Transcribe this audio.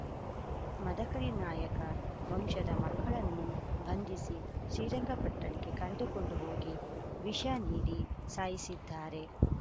ಮದಕರಿ ನಾಯಕ ವಂಶದ ಮಕ್ಕಳನ್ನು ಬಂಧಿಸಿ ಶ್ರೀರಂಗಪಟ್ಟಣಕ್ಕೆ ಕರೆದುಕೊಂಡು ಹೋಗಿ ವಿಷನೀಡಿ ಸಾಯಿಸಿದ್ದಾರೆ